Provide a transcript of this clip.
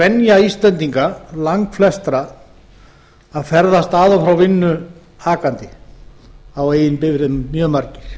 venja íslendinga langflestra að ferðast að og frá vinnu akandi á eigin bifreiðum mjög margir